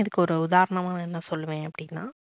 இதுக்கு ஒரு உதாரணமா நான் என்ன சொல்லுவேன் அப்படின்னா